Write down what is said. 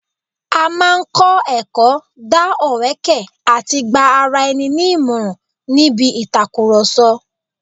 A máa ń kọ́ ẹ̀kọ́, dá ọ̀wẹ́kẹ̀ àti gba ara ẹni ní ìmọràn níbi ìtàkùrọ̀sọ